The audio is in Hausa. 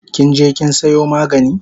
Kinje kin sayo magani?